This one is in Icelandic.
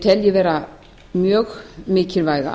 tel ég vera mjög mikilvæga